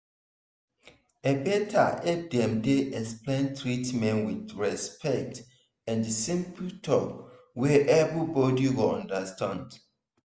e better if dem dey explain treatment with respect and simple talk wey everybody go understand.